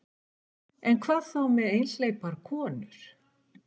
En hvað þá með einhleypar konur?